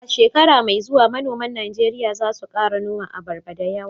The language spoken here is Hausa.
A shekara mai zuwa manoman Najeriya za su kara noman abarba dayawa